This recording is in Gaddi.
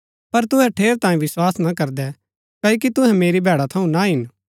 पर तुहै ठेरैतांये विस्वास ना करदै क्ओकि तुहै मेरी भैडा थऊँ ना हिन